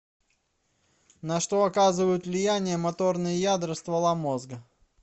на что оказывают влияние моторные ядра ствола мозга